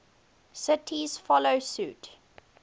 cities follow suit